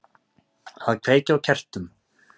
Að kveikja á kertum.